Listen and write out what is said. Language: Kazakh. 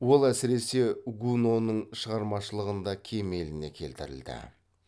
ол әсіресе гуноның шығармашылығында кемеліне келтірілді